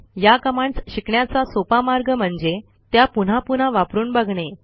या कमांडस शिकण्याचा सोपा मार्ग म्हणजे त्या पुन्हा पुन्हा वापरून बघणे